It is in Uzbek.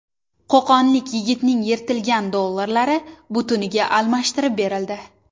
Qo‘qonlik yigitning yirtilgan dollarlari butuniga almashtirib berildi .